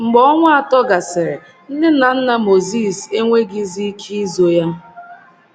Mgbe ọnwa atọ gasịrị, nne na nna Mozis enweghịzi ike izo ya.